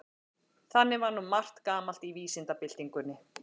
Þannig var margt gamalt í vísindabyltingunni.